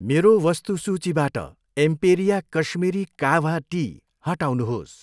मेरो वस्तु सूचीबाट एम्पेरिया काश्मीरी काह्वा टी हटाउनुहोस्।